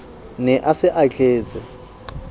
ne a se a tletse